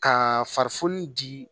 Ka farifoni di